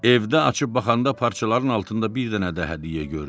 Evdə açıb baxanda parçaların altında bir dənə də hədiyyə gördü.